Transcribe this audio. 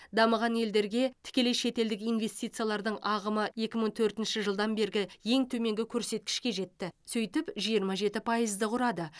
дамыған елдерге тікелей шетелдік инвестициялардың ағымы екі мың төртінші жылдан бергі ең төменгі көрсеткішке жетті сөйтіп жиырма жеті пайызды құрады